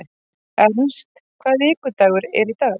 Ernst, hvaða vikudagur er í dag?